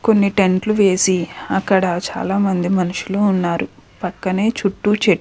కొన్ని టెంట్ లు వేసి అక్కడ చాలా మంది మనుషులు ఉన్నారు పక్కనే చుట్టూ చెట్లు --